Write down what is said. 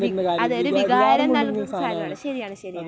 വിക്... അതെ ഒരു വികാരം നൽകുന്ന സാധനമാണ്. ശരിയാണ് ശരിയാണ്.